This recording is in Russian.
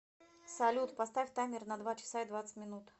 салют поставь таймер на два часа и двадцать минут